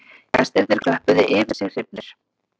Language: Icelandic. Gestirnir klöppuðu yfir sig hrifnir